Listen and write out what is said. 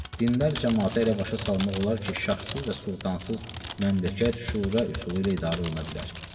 Dindar camaatı elə başa salmaq olar ki, şahsız və sultansız məmləkət şura üsulu ilə idarə oluna bilər.